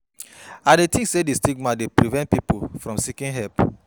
I dey think say di stigma dey prevent people from seeking help.